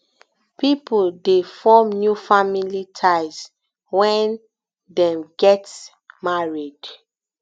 pipo de form new family ties when dem get married